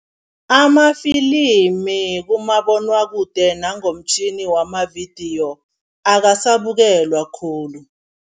Amafilimi kumabonwakude nangomtjhini wamavidiyo akasabukelwa khulu.